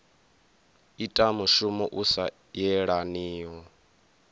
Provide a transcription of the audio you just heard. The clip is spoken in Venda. ita mushumo u sa yelaniho